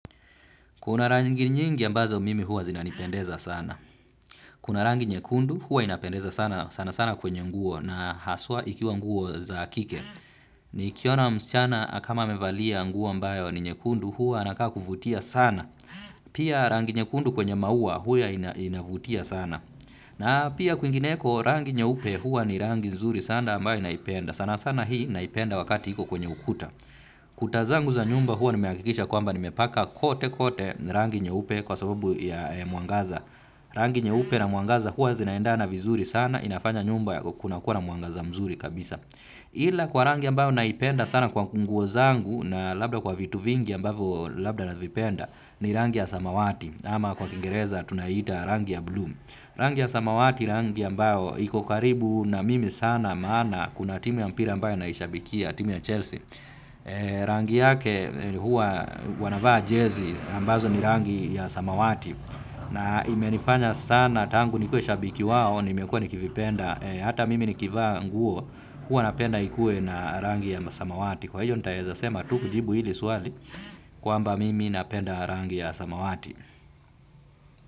Kuna rangi nyingi ambazo mimi hua zinanipendeza sana. Kuna rangi nyekundu hua inapendeza sana sana sana kwenye nguo na haswa ikiwa nguo za kike. Nikiona msichana kama amevalia nguo ambayo ni nyekundu huwa anakaa kuvutia sana. Pia rangi nyekundu kwenye maua huwa inavutia sana. Na pia kwingineko rangi nyeupe hua ni rangi nzuri sana ambayo naipenda. Sana sana hii naipenda wakati iko kwenye ukuta. Kuta zangu za nyumba huwa nimehakikisha kwamba nimepaka kote kote rangi nyeupe kwa sababu ya mwangaza. Rangi nyeupe na mwangaza huwa zinaendana vizuri sana inafanya nyumba kuna kuwa na mwangaza mzuri kabisa. Ila kwa rangi ambayo naipenda sana kwa nguo zangu na labda kwa vitu vingi ambavyo labda navipenda ni rangi ya samawati. Ama kwa kingereza tunaita rangi ya blue. Rangi ya samawati rangi ambayo iko karibu na mimi sana maana kuna timu ya mpira ambayo naishabikia timu ya Chelsea. Rangi yake huwa wanavaa jezi ambazo ni rangi ya samawati. Na imenifanya sana tangu nikue shabiki wao nimekua nikivipenda. Hata mimi nikivaa nguo huwa napenda ikue na rangi ya samawati. Kwa hiyo nitaeza sema tu kujibu hili swali kwamba mimi napenda rangi ya samawati.